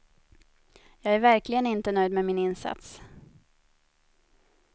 Jag är verkligen inte nöjd med min insats.